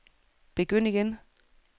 begynd igen